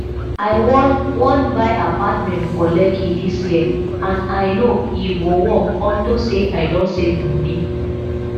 i wan wan buy apartment for lekki dis year and i no e go work unto say i don save money